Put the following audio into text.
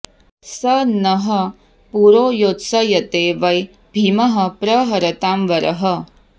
स नः पुरो योत्सयते वै भीमः प्रहरतां वरः